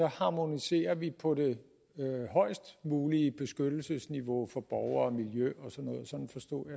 harmoniserer vi på det højest mulige beskyttelsesniveau for borgere og miljø